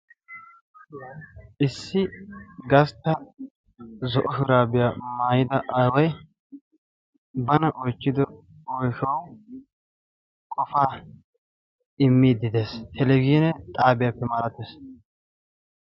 Issi gastta zo'o shuraabiya maayida aaway bana oychchido oyshawu qofaa immiiddi de'ees. Televizhiine xaabiyappe malatees.